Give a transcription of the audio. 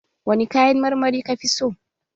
Wani kayan marmari ka fi so?